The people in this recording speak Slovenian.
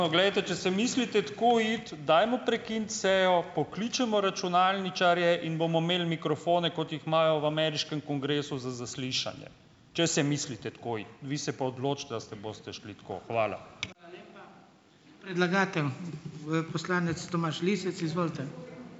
Poglejte, če se mislite tako iti, dajmo prekiniti sejo, pokličemo računalničarje in bomo imeli mikrofone, kot jih imajo v ameriškem kongresu za zaslišanje, če se mislite tako iti. Vi se pa odločite, a se boste šli tako. Hvala.